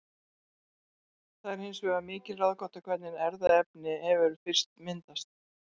Það er hins vegar mikil ráðgáta hvernig erfðaefni hefur fyrst myndast.